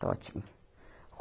Está ótimo.